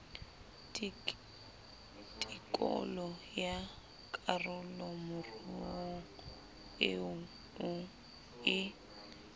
tikolo ya karolomoruo eo e